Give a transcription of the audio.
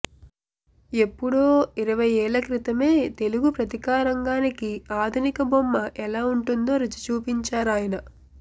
ఎప్పుడో ఇరవై ఏళ్ళక్రితమే తెలుగు పత్రికారంగానికి ఆధునిక బొమ్మ ఎలా ఉంటుందో రుచిచూపించారాయన